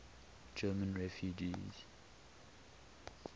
german refugees